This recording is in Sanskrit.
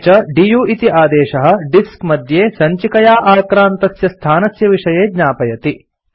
अपि च दु इति आदेशः डिस्क मध्ये सञ्चिकया आक्रान्तस्य स्थानस्य विषये ज्ञापयति